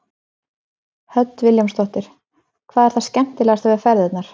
Hödd Vilhjálmsdóttir: Hvað er það skemmtilegasta við ferðirnar?